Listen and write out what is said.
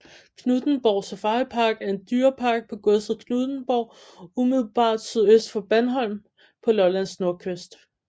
Knuthenborg Safaripark er en dyrepark på godset Knuthenborg umiddelbart sydøst for Bandholm på Lollands nordkyst